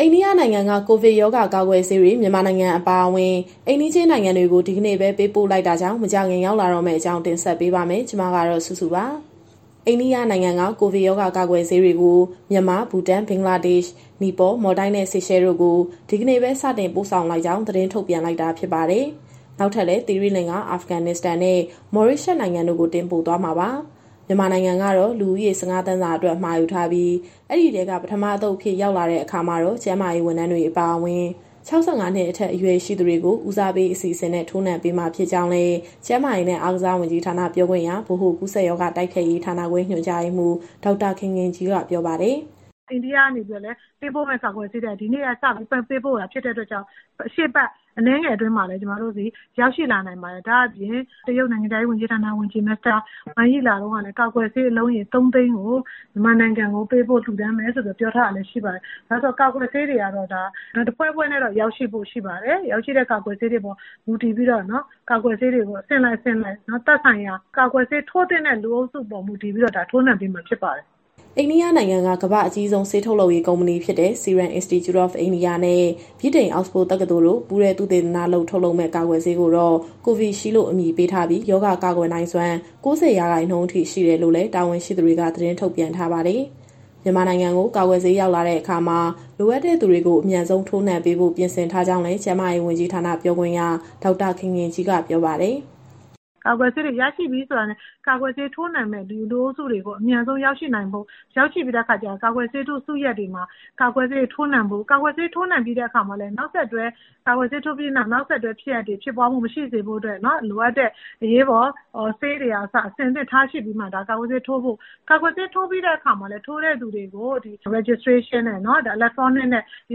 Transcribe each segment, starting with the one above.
အိန္ဒိယနိုင်ငံက ကိုဗစ်ရောဂါ ကာကွယ်ဆေးတွေ မြန်မာနိုင်ငံ အပါအဝင် အိမ်နီးချင်း နိုင်ငံတွေကို ဒီကနေ့ပဲ ပေးပို့လိုက်တာကြောင့် မကြာခင် ရောက်လာတော့မယ့်အကြောင်း ဗွီအိုအေမြန်မာပိုင်း သတင်းထောက် မစုစုက တင်ဆက်ပေးမှာပါ။ အိန္ဒိယနိုင်ငံက ကိုဗစ်ရောဂါ ကာကွယ်ဆေးတွေကို မြန်မာ၊ ဘူတန်၊ ဘင်္ဂလားဒေ့ရှ်၊ နီပေါ၊ မော်လ်ဒိုက်နဲ့ ဆေရှဲတို့ကို ဒီကနေ့ပဲ စတင်ပို့ဆောင်လိုက်ကြောင်း သတင်းထုတ်ပြန်လိုက်တာ ဖြစ်ပါတယ်။ နောက်ထပ်လည်း သီရိလင်္ကာ၊ အာဖဂန်နစ္စတန်နဲ့ မော်ရေးရှပ်စ် နိုင်ငံတို့ကို တင်ပို့သွားမှာပါ။ မြန်မာနိုင်ငံကတော့ လူဦးရေ ၁၅ သန်းစာအတွက် မှာယူထားပြီး၊ ဒီအထဲက ပထမအသုတ်အဖြစ် ရောက်လာတဲ့ အခါမှာတော့ ကျန်းမာရေး ဝန်ထမ်းတွေ အပါအဝင်၊ ၆၅ နှစ်အထက် အရွယ်ရှိသူတွေကို ဦးစားပေး အစီအစဉ်နဲ့ ထိုးနှံပေးမှာ ဖြစ်ကြောင်းလည်း ကျန်းမာရေးနဲ့ အားကစားဝန်ကြီးဌာန ပြောခွင့်ရ၊ ဗဟိုကူးစက်ရောဂါ တိုက်ဖျက်ရေးဌာနခွဲ ညွှန်ကြားရေးမှူး ဒေါက်တာခင်ခင်ကြီးက ပြောပါတယ်။ "အိန္ဒိယကနေ ပေးပို့မယ့်ကာကွယ်ဆေးတွေက ဒီနေ့ကစပြီး ပေးပို့တာဖြစ်တဲ့အတွက်ကြောင့် ရှေ့အပတ်အနည်းငယ်အတွင်းမှာပဲ ကျမတို့ဆီရောက်ရှိလာနိုင်ပါတယ်။ ဒါ့အပြင် တရုတ်နိုင်ငံခြားရေးဝန်ကြီး မစ္စတာဝမ်ယီ လာတုန်းကလည်း ကာကွယ်ဆေးအလုံးရေ ၃၀၀,၀၀၀ ကို မြန်မာနိုင်ငံကိုပေးပို့ လှူဒါန်းမယ်ဆိုပြီးတော့ ပြောထားတာလည်းရှိပါတယ်။ ကာကွယ်ဆေးတွေကတော့ တဖွဲဖွဲနဲ့တော့ ရောက်ရှိဖို့ရှိပါတယ်။ ရောက်ရှိတဲ့ကာကွယ်ဆေးတွေအပေါ် မူတည်ပြီးတော့ ကာကွယ်ဆေးတွေကို အဆင့်လိုက်သက်ဆိုင်ရာ ကာကွယ်ဆေး ထိုးသင့်တဲ့ လူအုပ်စုပေါ် မူတည်ပြီးတော့ ထိုးနှံပေးမှာဖြစ်ပါတယ်။" အိန္ဒိယနိုင်ငံက ကမ္ဘာ့အကြီးဆုံး ဆေးထုတ်လုပ်ရေး ကုမ္ပဏီဖြစ်တဲ့ Serum Institute of India နဲ့ ဗြိတိန်အောက်စ်ဖို့ တက္ကသိုလ်တို့ ပူးတွဲသုတေသနလုပ် ထုတ်လုပ်မယ့် ကာကွယ်ဆေးကိုတော့ Covishield လို့ အမည်ပေးထားပြီး ရောဂါကာကွယ်နိုင်စွမ်း ၉၀ ရာခိုင်နှုန်းအထိ ရှိတယ်လို့လည်း တာဝန်ရှိသူတွေက သတင်းထုတ်ပြန်ထားပါတယ်။ မြန်မာနိုင်ငံကို ကာကွယ်ဆေး ရောက်လာတဲ့အခါမှာ လိုအပ်တဲ့သူတွေကို အမြန်ဆုံး ထိုးနှံပေးဖို့ ပြင်ဆင်ထားကြောင်းလည်း ကျန်းမာရေးဝန်ကြီးဌာန ပြောခွင့်ရ ဒေါက်တာခင်ခင်ကြီးက ပြောပါတယ်။ "ကာကွယ်ဆေးတွေ ရရှိပြီဆိုတာနဲ့ ကာကွယ်ဆေးထိုးနှံမယ့်လူအုပ်စုတွေ အမြန်ဆုံးရောက်ရှိပြီးတဲ့အခါကျရင် ကာကွယ်ဆေးထိုးစုရပ်တွေမှာ ကာကွယ်ဆေးထိုးနှံဖို့။ ကာကွယ်ဆေးထိုးနှံပြီးတဲ့အခါမှာလည်း နောက်ဆက်တွဲဖြစ်ရပ်တွေ ဖြစ်ပွားမှုမရှိစေဖို့အတွက် လိုအပ်တဲ့ အရေးပေါ်ဆေးတွေကအစ အဆင်သင့်ထားရှိပြီးမှ ကာကွယ်ဆေးထိုးဖို့။ ကာကွယ်ဆေးထိုးပြီးတဲ့အခါမှာလည်း ထိုးတဲ့သူတွေကို Electronic Registration နဲ့ မှတ်တမ်းတင်ဖို့။ ဒါမျိုးကိ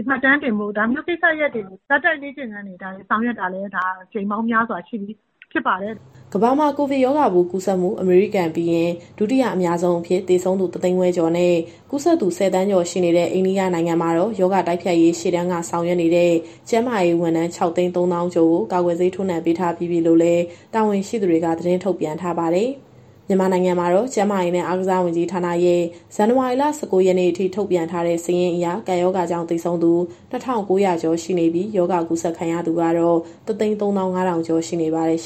စ္စရပ်တွေကို ဇာတ်တိုက်လေ့ကျင့်ခန်းတွေ ဆောင်ရွက်တာလည်း အကြိမ်ပေါင်းများစွာရှိပြီ ဖြစ်ပါတယ်။" ကမ္ဘာမှာ ကိုဗစ်ရောဂါပိုး ကူးစက်မှု အမေရိကန်ပြီးရင် ဒုတိယအများဆုံးအဖြစ် သေဆုံးသူ ၁၅၀,၀၀၀ ကျော်နဲ့ ကူးစက်သူ ၁၀ သန်းကျော် ရှိနေတဲ့ အိန္ဒိယနိုင်ငံမှာတော့ ရောဂါတိုက်ဖျက်ရေး ရှေ့တန်းက ဆောင်ရွက်နေတဲ့ ကျန်းမာရေးဝန်ထမ်း ၆၃၀,၀၀၀ ကျော်ကို ကာကွယ်ဆေး ထိုးနှံပေးထားပြီးပြီလို့လည်း တာဝန်ရှိသူတွေက သတင်းထုတ်ပြန်ထားပါတယ်။ မြန်မာနိုင်ငံမှာတော့ ကျန်းမာရေးနဲ့ အားကစားဝန်ကြီးဌာနရဲ့ ဇန်နဝါရီလ ၁၉ ရက်နေ့အထိ ထုတ်ပြန်ထားတဲ့စာရင်းအရ ကပ်ရောဂါကြောင့် သေဆုံးသူ ၂,၉၀၀ ကျော်ရှိနေပြီး ရောဂါကူးစက်ခံရသူကတော့ ၁၃၅,၀၀၀ ကျော် ရှိနေပါတယ်။